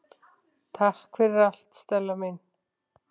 Takk fyrir allt Stella mín.